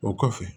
O kɔfɛ